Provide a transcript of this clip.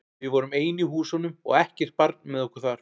Við vorum ein í húsunum og ekkert barn með okkur þar.